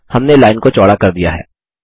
हमने लाइन को चौड़ा कर दिया है